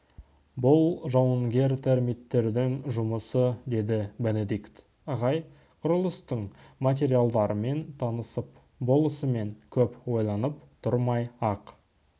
бұл жауынгер термиттердің жұмысы деді бенедикт ағай құрылыстың материалдарымен танысып болысымен көп ойланып тұрмай-ақ